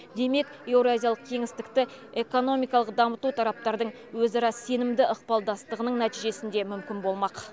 демек еуразиялық кеңістікті экономикалық дамыту тараптардың өзара сенімді ықпалдастығының нәтижесінде мүмкін болмақ